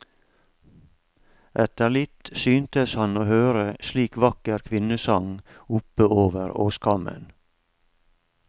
Etter litt syntes han å høre slik vakker kvinnesang oppe over åskammen.